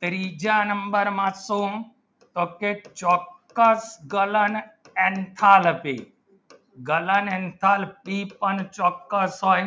ત્રીજા number માં તો ગલન એન્થાલ્પી પણ ચોક્કસ હોય